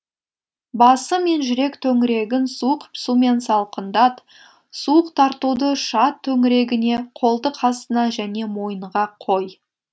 басы мен жүрек төңірегін суық сумен салқындат суық тартуды шат төңірегіне қолтық астына және мойынға қой